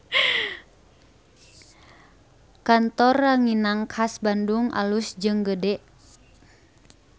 Kantor Ranginang Khas Bandung alus jeung gede